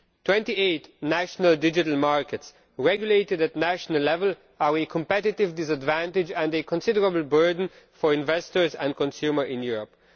Twenty eight national digital markets regulated at national level are a competitive disadvantage and a considerable burden for investors and consumers in Europe.